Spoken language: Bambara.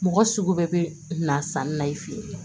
Mɔgɔ sugu bɛɛ bɛ na sanni na i fɛ yen